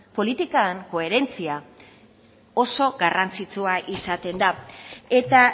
politikan koherentzia oso garrantzitsua izaten da eta